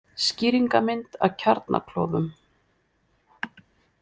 Skýringarmynd af kjarnaklofnun.